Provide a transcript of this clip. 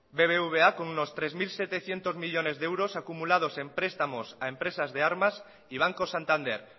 bbva con un tres mil setecientos millónes de euros acumulados en prestamos a empresas de armas y banco santander